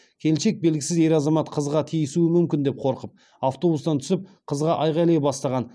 келіншек белгісіз ер азамат қызға тиісуі мүмкін деп қорқып автобустан түсіп қызға айғайлай бастаған